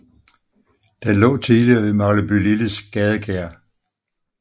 Den lå tidligere ved Maglebylilles gadekær